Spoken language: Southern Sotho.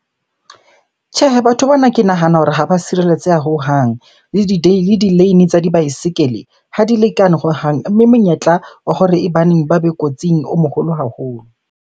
Tjhehe, batho bana ke nahana hore ha ba sireletseha hohang. Le di-lane tsa dibaesekele ha di lekane hohang. Mme monyetla wa hore e baneng ba be kotsing o moholo haholo.